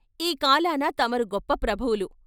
ఈ కాలాన తమరు గొప్ప ప్రభువులు.